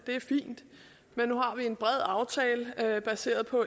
er fint men nu har vi en bred aftale baseret på